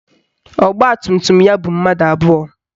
Ọgbatumtum ya bu mmadụ abụọ